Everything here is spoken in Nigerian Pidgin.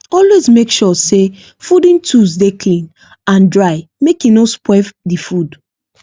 always make sure say fooding tools dey clean and dry make e no spoil the food